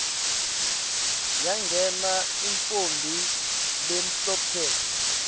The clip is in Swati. yangena intfombi lemhlophe